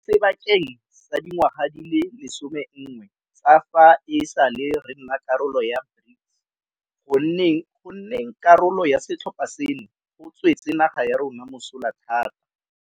Mo sebakeng sa dingwaga di le 11 tsa fa e sale re nna karolo ya BRICS, go nneng karolo ya setlhopha seno go tswetse naga ya rona mosola thata.